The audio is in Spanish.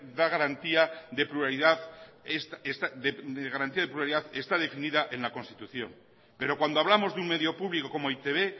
de garantía de pluralidad está definida en la constitución pero cuando hablamos de un medio público como e i te be